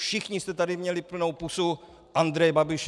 Všichni jste tady měli plnou pusu Andreje Babiše.